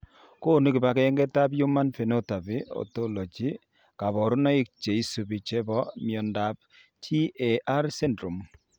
Konu kibagengeitab Human Phenotype Ontology kaborunoik cheisubi chebo miondop TAR syndrome?